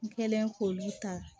N kɛlen k'olu ta